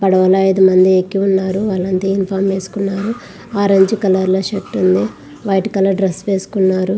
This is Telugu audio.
పడవలో ఐదు మంది ఎక్కి ఉన్నారు. వాళ్లంతా యూనిఫామ్ వేసుకున్నారు. ఆరెంజ్ కలర్ లో షర్ట్ ఉంది. వైట్ కలర్ డ్రెస్ వేసుకున్నారు.